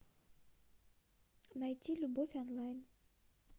найти любовь онлайн